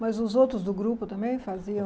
Mas os outros do grupo também faziam?